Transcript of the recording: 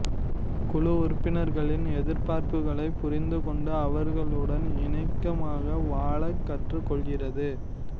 குழு உறுப்பினர்களின் எதிர்பார்ப்புகளைப் புரிந்து கொண்டு அவர்களுடன் இணக்கமாக வாழக் கற்றுக் கொள்கிறது